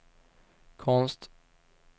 konst